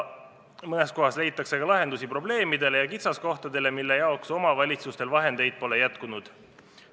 Mõnes kohas leitakse ka lahendusi probleemidele ja kitsaskohtadele, mille jaoks omavalitsustel vahendeid pole jätkunud.